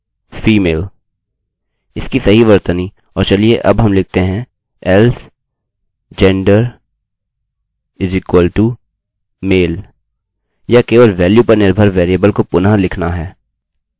इसकी सही वर्तनी और चलिए अब हम लिखते हैं else gender=male यह केवल वेल्यू पर निर्भर वेरिएबलvariableको पुनः लिखना है